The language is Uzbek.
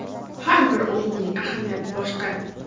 Har bir o‘yinning ahamiyati boshqa.